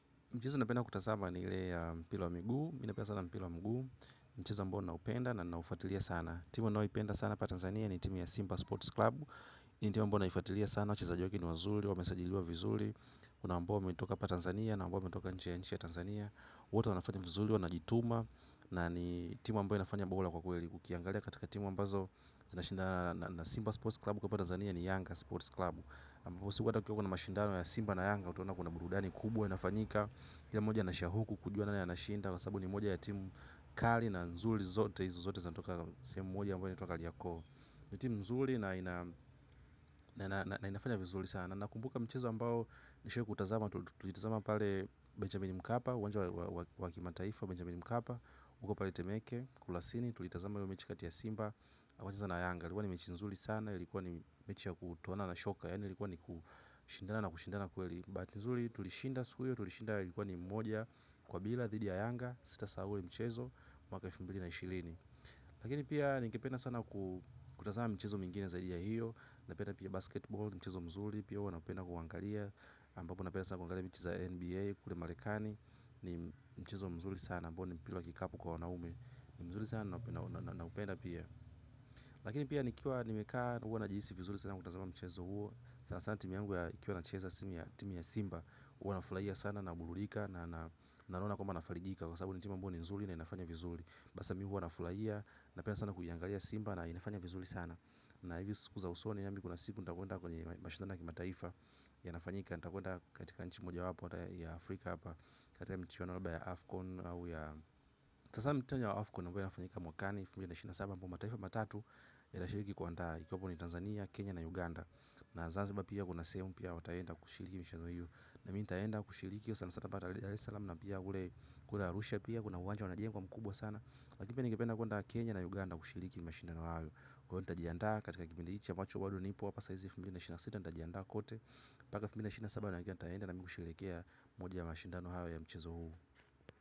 Mchezo ninapenda kutazama ni ile ya mpira wa miguu, mimi napenda sana mpira wa miguu. Mchezo ambao naupenda na naufatilia sana timu ninayoipenda sana hapa Tanzania ni timu ya Simba Sports Club hii ndiyo timu ambayo naifatilia sana, wachezaji wake ni wazuri, wamesajiliwa vizuri. Kuna ambao wametoka hapa Tanzania na ambao wametoka nje ya nchi ya Tanzania. Wote wanafanya vizuri, wanajituma. Na ni timu ambayo inafanya bora kwa kweli ukiangalia katika timu ambazo inashindana na simba Sports Club kwa hapa Tanzania ni Yanga Sports Club ambao kukiwa na mashindano ya Simba na Yanga utaona kuna burudani kubwa inafanyika kila moja anashauku kujua nani anashinda kwa sababu ni moja ya timu kali na nzuri zote hizo zote zanitoka sehemu moja ambayo inatwa kariako ni timu nzuri na inafanya vizuri sana nakumbuka mchezo ambao nishawahi kutazama tulitazama pale Benjamin Mkapa uwanja wa wa kimataifa Benjamin Mkapa huko pale temeke kulasini tulitazama hiyo mechi kati ya simba wakicheza na yanga ilikuwa ni mechi nzuri sana ilikuwa ni mechi ya kutuona na shoka ilikuwa ni kushindana na kushindana kweli bahati nzuri tulishinda siku hiyo, tulishinda ilikuwa ni mmoja, kwa bila, dhidi ya yanga, sita sahau ule mchezo, mwaka elfu mbili na ishilini. Lakini pia ningependa sana kutazama mchezo mingine zaidi ya hiyo, napenda pia basketball, mchezo mzuri, pia huwa napenda kuuangalia, ambapo napenda sana kuangalia mchezo wa NBA, kule marekani, ni mchezo mzuri sana, ambao ni mpira wa kikapu kwa wanaume, ni mzuri sana naupenda pia. Lakini pia nikiwa nimekaa huwa najihisi vizuri sana kutazama mchezo huo, sana sana timu yangu ya ikiwa na cheza timu ya simba, huwa nafurahia sana na burudika na naona kwamba nafarijika kwa sababu ni timu ambao ni nzuri na inafanya vizuri. Hasa mimi huwa nafurahia napenda sana kuiangalia simba na inafanya vizuri sana. Na hivi siku za usoni nami kuna siku nitakwenda kwenye mashindano ya kimataifa yanafanyika. Nitakwenda katika nchi moja wapo ya Afrika hapa, katika michuano ya Afcon au ya kutazama mchuano wa Afcon ambayo inafanyika mwakani elfu mbili na ishirini na saba ambapo mataifa matatu inashiriki kuandaa ikiwamo ni Tanzania, Kenya na Uganda. Na zanziba pia kuna sehemu pia wataenda kushiriki michuano hiyo. Na mimi nitaenda kushiriki sana sana hapa dares salam na pia kule kule arusha pia kuna uwanja wanajenga mkubwa sana. Lakini pia ningependa kuenda Kenya na Uganda kushiriki mashindano hayo. Kwa hiyo nitajiandaa katika kipindi hichi ambacho bado nipo hapa saa hizi elfu mbili na ishirini na sita nitajiandaa kote mpaka elfu mbili na ishirini na saba najua nitaenda na kusherehekea moja ya mashindano hayo ya mchezo huo.